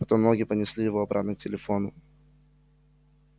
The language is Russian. потом ноги понесли его обратно к телефону